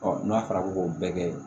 n'a fɔra ko bɛɛ kɛ